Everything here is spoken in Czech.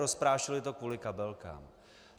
Rozprášili to kvůli kabelkám.